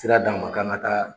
Sira d'an ma k'an ka taa